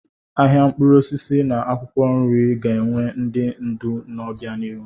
Ahịa mkpụrụ osisi na akwụkwọ nri ga-enwe ndị ndu n'obianihu.